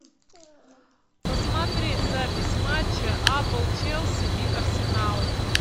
посмотреть запись матча апл челси и арсенал